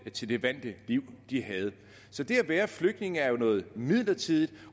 til det vante liv de havde så det at være flygtning er jo noget midlertidigt